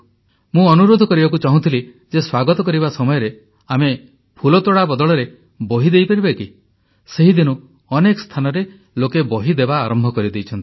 ମୁଁ ଅନୁରୋଧ କରିବାକୁ ଚାହୁଁଥିଲି ଯେ ସ୍ୱାଗତ କରିବା ସମୟରେ ଆମେ ଫୁଲତୋଡ଼ା ବଦଳରେ ବହି ଦେଇପାରିବା କି ସେହିଦିନୁ ଅନେକ ସ୍ଥାନରେ ଲୋକେ ବହି ଦେବା ଆରମ୍ଭ କରିଦେଇଛନ୍ତି